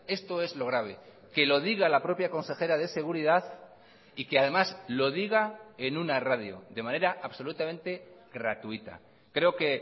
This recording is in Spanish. esto es lo grave que lo diga la propia consejera de seguridad y que además lo diga en una radio de manera absolutamente gratuita creo que